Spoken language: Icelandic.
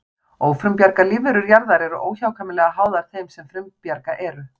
Ófrumbjarga lífverur jarðar eru óhjákvæmilega háðar þeim sem frumbjarga eru.